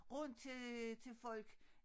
Rundt til øh til folk